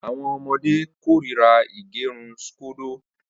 Awọn ọmọde korira ígẹrun scodo.